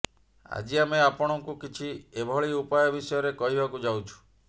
ଆଜି ଆମେ ଆପଣଙ୍କୁ କିଛି ଏଭଳି ଉପାୟ ବିଷୟରେ କହିବାକୁ ଯାଉଛୁ